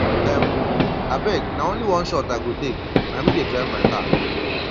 um abeg na only one shot i go take na me dey drive my car